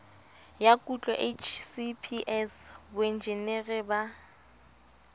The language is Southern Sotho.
ya kutlo hcps boenjinere ba